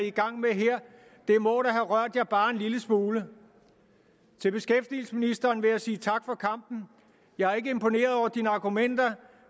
i gang med her må da have rørt jer bare en lille smule til beskæftigelsesministeren vil jeg sige tak for kampen jeg er ikke imponeret over dine argumenter